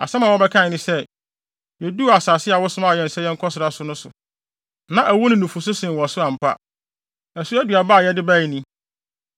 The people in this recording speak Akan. Asɛm a wɔbɛkae ne sɛ, “Yeduu asase a wosomaa yɛn sɛ yɛnkɔsra so no so, na ɛwo ne nufusu sen wɔ so ampa! Ɛso aduaba a yɛde bae ni.